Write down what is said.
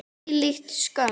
Hvílík skömm!